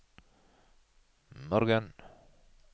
morgen